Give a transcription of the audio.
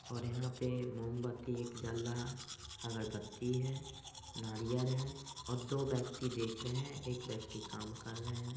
ओर यहाँ पे मोमबत्ती एक जल्ला अगरबत्ती है नारियर है और दो व्यक्ति देख रहे है एक व्यक्ति काम कर रहे है।